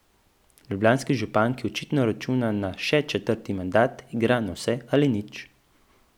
Ljubljanski župan, ki očitno računa na še četrti mandat, igra na vse ali nič.